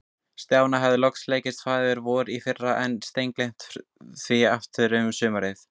Stjána hafði loks tekist að læra Faðir-vorið í fyrra, en steingleymt því aftur um sumarið.